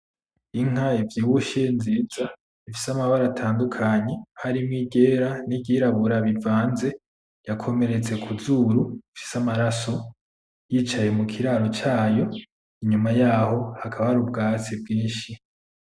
Inka ivyibushe nziza, ifise amabara atandukanye, harimwo iryera n'iryirabura bivanze, yakomeretse kuzuru, ifise amaraso, yicaye mu kiraro cayo, inyuma yaho hakaba hari ubwatsi bwinshi.